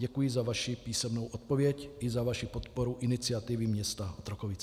Děkuji za vaši písemnou odpověď i za vaši podporu iniciativy města Otrokovic.